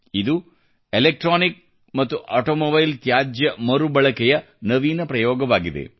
ಇದು ಎಲೆಕ್ಟ್ರಾನಿಕ್ ಮತ್ತು ಆಟೋಮೊಬೈಲ್ ತ್ಯಾಜ್ಯ ಮರುಬಳಕೆಯ ನವೀನ ಪ್ರಯೋಗವಾಗಿದೆ